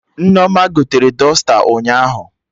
Nneoma gotere dọsta ụnyaahụ